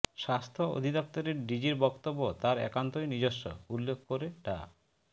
স্বাস্থ্য অধিদপ্তরের ডিজির বক্তব্য তার একান্তই নিজস্ব উল্লেখ করে ডা